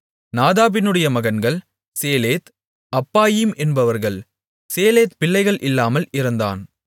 நாதாபினுடைய மகன்கள் Seled Appaim என்பவர்கள் Seled பிள்ளைகள் இல்லாமல் இறந்தான்